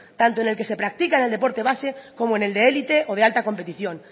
tanto el que se practica en el deporte base como en el de élite o de alta competición